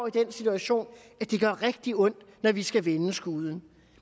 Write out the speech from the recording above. i den situation at det gør rigtig ondt når vi skal vende skuden